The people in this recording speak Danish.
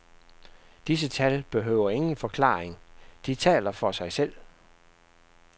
Disse tal behøver ingen forklaring, de taler for sig selv.